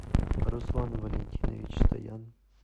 руслан валентинович стоян